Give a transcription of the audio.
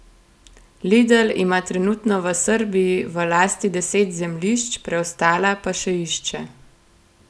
Lidl ima trenutno v Srbiji v lasti deset zemljišč, preostala pa še išče.